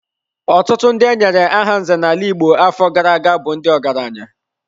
Ọtụtụ ndị e nyere aha nze n'ala Igbo afọ gara aga bụ ndị ọgaranya.